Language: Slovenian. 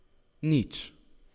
Nič!